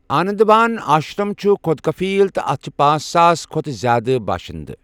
آنندوان آشرم چھُ خود کفیل تہٕ اتھ چھِ پانژہ ساس کھۅتہٕ زیادٕ باشندٕ۔